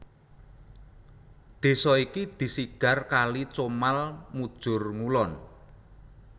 Desa iki disigar kali Comal mujur ngulon